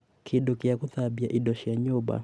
kĩndũ gĩa gũthambia indo cia nyũmba